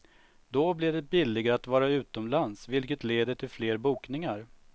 Då blir det billigare att vara utomlands vilket leder till fler bokningar.